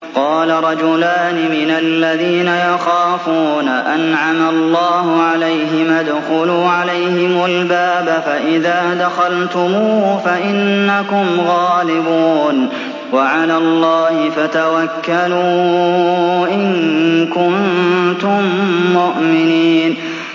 قَالَ رَجُلَانِ مِنَ الَّذِينَ يَخَافُونَ أَنْعَمَ اللَّهُ عَلَيْهِمَا ادْخُلُوا عَلَيْهِمُ الْبَابَ فَإِذَا دَخَلْتُمُوهُ فَإِنَّكُمْ غَالِبُونَ ۚ وَعَلَى اللَّهِ فَتَوَكَّلُوا إِن كُنتُم مُّؤْمِنِينَ